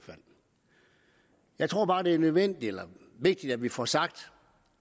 jeg tror bare det er nødvendigt eller vigtigt at vi får sagt